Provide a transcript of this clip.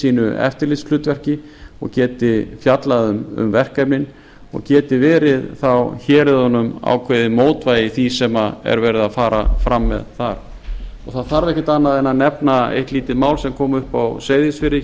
sínu eftirlitshlutverki og geti fjallað um verkefnin og geti verið þá héruðunum ákveðið mótvægi í því sem er verið að fara fram með þar það þarf ekkert annað en nefna eitt lítið mál sem kom upp á